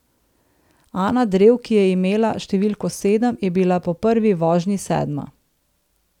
Ana Drev, ki je imela številko sedem, je bila po prvi vožnji sedma.